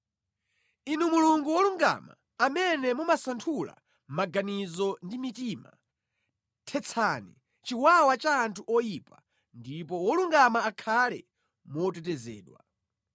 Inu Mulungu wolungama, amene mumasanthula maganizo ndi mitima, thetsani chiwawa cha anthu oyipa ndipo wolungama akhale motetezedwa.